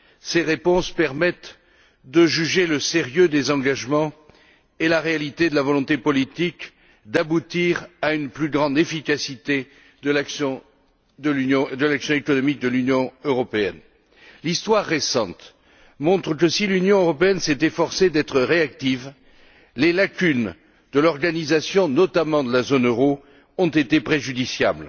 Ces réponses permettent de juger le sérieux des engagements et la réalité de la volonté politique d'aboutir à une plus grande efficacité de l'action économique de l'Union européenne. L'histoire récente montre que, si l'Union européenne s'est efforcée d'être réactive, les lacunes de l'organisation, notamment de la zone euro, ont été préjudiciables.